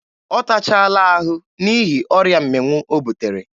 Ọ tachaala ahụ n'ihi ọrịa mmịnwụ o butere.